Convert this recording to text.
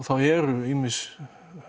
þá eru ýmis